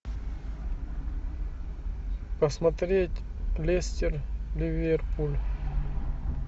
посмотреть лестер ливерпуль